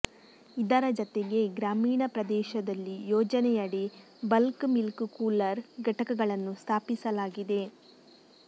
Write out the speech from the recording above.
ಇದರ ಜತೆಗೆ ಗ್ರಾಮೀಣ ಪ್ರದೇಶದಲ್ಲಿ ಯೋಜನೆಯಡಿ ಬಲ್ಕ್ ಮಿಲ್ಕ್ ಕೂಲರ್ ಘಟಕಗಳನ್ನು ಸ್ಥಾಪಿಸಲಾಗಿದೆ